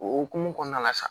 O hokumu kɔnɔna la sa